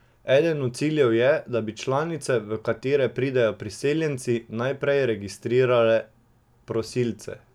Eden od ciljev tega je, da bi članice, v katere pridejo priseljenci, najprej registrirale prosilce.